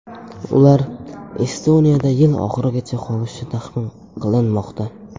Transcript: Ular Estoniyada yil oxirigacha qolishi taxmin qilinmoqda.